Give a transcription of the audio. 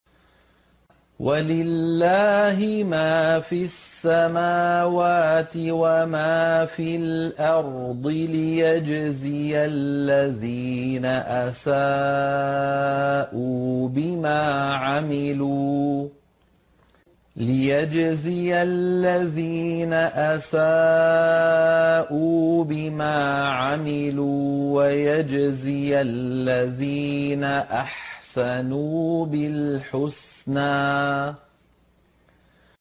وَلِلَّهِ مَا فِي السَّمَاوَاتِ وَمَا فِي الْأَرْضِ لِيَجْزِيَ الَّذِينَ أَسَاءُوا بِمَا عَمِلُوا وَيَجْزِيَ الَّذِينَ أَحْسَنُوا بِالْحُسْنَى